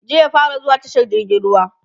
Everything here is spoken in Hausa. jiya ya fara zuwa tashar jirgin ruwa